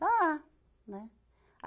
Está lá, né?